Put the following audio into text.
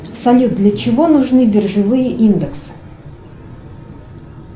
салют для чего нужны биржевые индексы